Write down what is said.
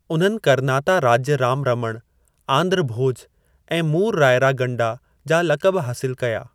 उन्हनि 'करनाता राज्य राम रमण', 'आंध्र भोज' ऐं 'मूरु रायरा गंडा' जा लक़ब हासिल कया।